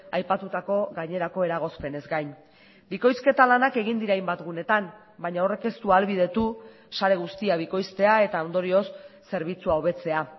aipatutako gainerako eragozpenez gain bikoizketa lanak egin dira hainbat gunetan baina horrek ez du ahalbidetu sare guztia bikoiztea eta ondorioz zerbitzua hobetzea